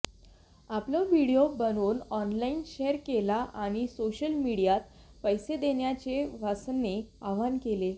आपला व्हिडीओ बनवून online share केला आणि सोशल मीडियात पैसे देण्याचे वासनने आवाहन केले